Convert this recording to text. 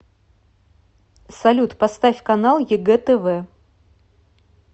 салют поставь канал егэ тв